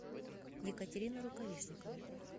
екатерину рукавишникову